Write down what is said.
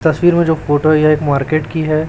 तस्वीर में जो फोटो है यह एक मार्केट की है।